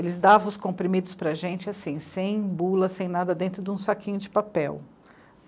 Eles davam os comprimidos para a gente assim, sem bula, sem nada, dentro de um saquinho de papel.